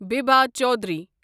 Bibha Chowdhury